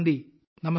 നമസ്കാരം